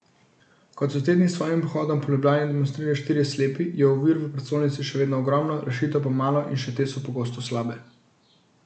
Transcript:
Kot so te dni s svojim pohodom po Ljubljani demonstrirali štirje slepi, je ovir v prestolnici še vedno ogromno, rešitev pa malo in še te so pogosto slabe.